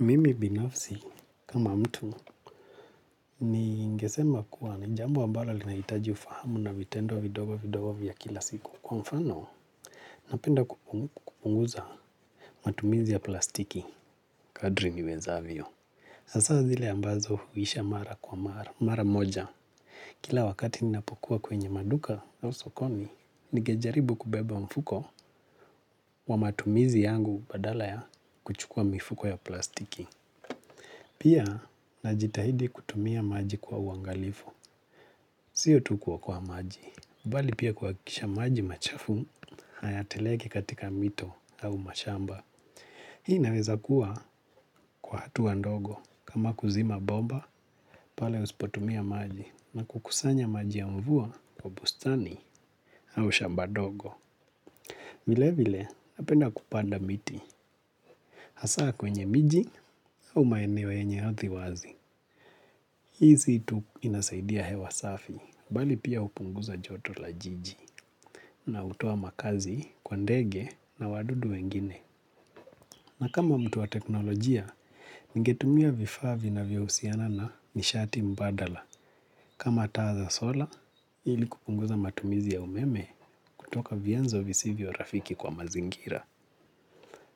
Mimi binafsi kama mtu ni ingesema kuwa ni jambo ambalo linahitaji ufahamu na vitendo vidogo vidogo vya kila siku. Kwa mfano, napenda kupunguza matumizi ya plastiki. Kadri niweza avyo. Asa zile ambazo huisha mara kwa mara moja. Kila wakati ninapokuwa kwenye maduka au sokoni, ningejaribu kubeba mfuko wa matumizi yangu badala ya kuchukua mifuko ya plastiki. Pia, na jitahidi kutumia maji kwa uangalifu. Sio tu kuwokowa maji. Bali pia kwakisha maji machafu, hayateleki katika mito au mashamba. Hii inaweza kuwa kwa hatuwa ndogo. Kama kuzima boba, pale usipotumia maji. Na kukusanya maji ya mvua kwa bustani au shamba dogo. Vile vile, napenda kupanda miti. Hasaa kwenye miji au maenewo enye hathi wazi. Hii situ inasaidia hewa safi. Bali pia upunguza joto la jiji na utowa makazi kwa ndege na wadudu wengine. Na kama mtu wa teknolojia, ningetumia vifa vinavyo usiana na nishati mbadala. Kama ta za sola, ili kupunguza matumizi ya umeme kutoka vienzo visivyo rafiki kwa mazingira.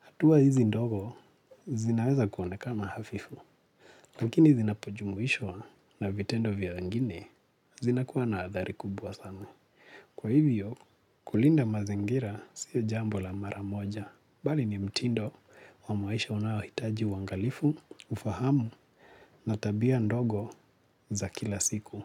Atua hizi ndogo, zinaweza kuonekana hafifu. Lakini zinapojumuishwa na vitendo vya wengine, zinakuwa na athari kubwa sana. Kwa hivyo kulinda mazingira siyo jambo la maramoja. Bali ni mtindo wa maisha unawahitaji wangalifu, ufahamu na tabia ndogo za kila siku.